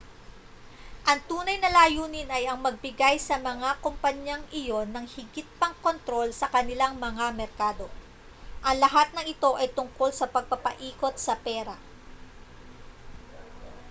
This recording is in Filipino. ang tunay na layunin ay ang magbigay sa mga kompanyang iyon ng higit pang kontrol sa kanilang mga merkado ang lahat ng ito ay tungkol sa pagpapaikot sa pera